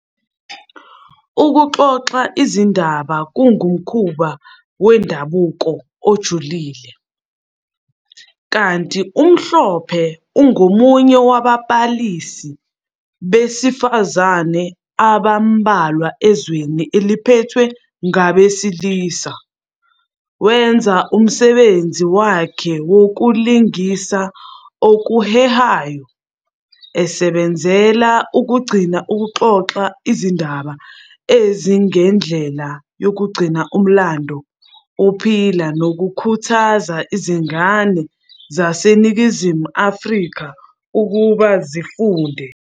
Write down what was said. Ukuxoxa izindaba kungumkhuba wendabuko ojulile ], kanti uMhlophe ungomunye wababalisi besifazane abambalwa ezweni eliphethwe ngabesilisa. Wenza umsebenzi wakhe ngokulingisa okuhehayo, esebenzela ukugcina ukuxoxa izindaba njengendlela yokugcina umlando uphila nokukhuthaza izingane zaseNingizimu Afrika ukuthi zifunde.